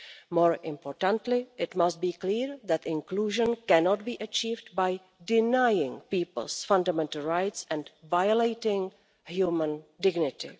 More importantly, it must be clear that inclusion cannot be achieved by denying people's fundamental rights and violating human dignity.